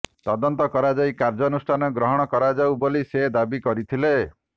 ତଦନ୍ତ କରାଯାଇ କାର୍ଯ୍ୟାନୁଷ୍ଠାନ ଗ୍ରହଣ କରାଯାଉ ବୋଲି ସେ ଦାବି କରିଥିଲେ